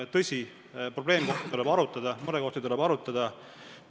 Tõsi, probleeme ja murekohti tuleb arutada.